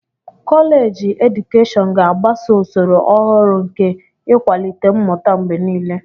Kọleji edukeshọn ga-agbaso usoro ọhụrụ nke ịkwalite mmụta mgbe niile.